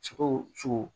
Sogo sogo